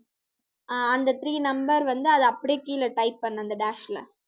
அஹ் அந்த three number வந்து, அதை அப்படியே கீழ type பண்ணு அந்த dash ல